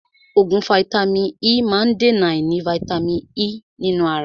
Oògùn vàìtamínií E má ń dèna àìní vàìtamínií E nínú ara.